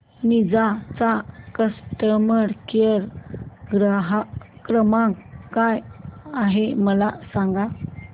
Ninja चा customer care क्रमांक काय आहे मला सांगा